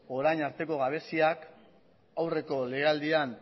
orain arteko gabeziak aurreko legealdian